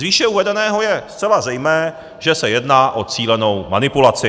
Z výše uvedeného je zcela zřejmé, že se jedná o cílenou manipulaci.